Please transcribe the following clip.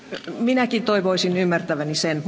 Minäkin toivoisin ymmärtäväni sen.